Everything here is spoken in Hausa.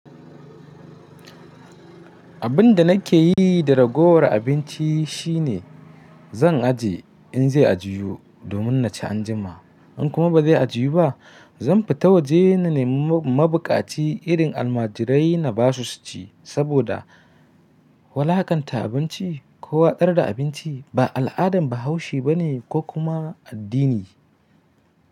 Abin da nake yi da ragowar abinci shine zan aje in zai ajiyu domin na ci anjima. In kuma ba zai a jiyu ba, zan fita waje na nemi mabukaci irin almajirai na basu su ci. Saboda wulakanta abinci ko watsar da abinci ba al'adan Bahaushe ba ne ko kuma addini.